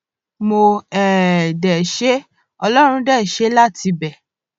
mo um dé ṣe é ọlọrun dé ṣe é láti ibẹ